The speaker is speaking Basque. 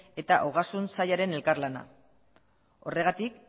eta ogasun sailen elkarlana horregatik